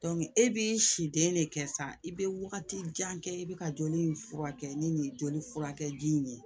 e bi si den de kɛ sisan i be wagati jan kɛ i bi ka joli in furakɛ ni nin joli furakɛji in ye